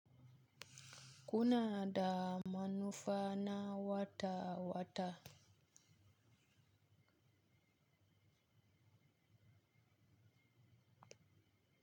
Kuna da manufa na wata-wata?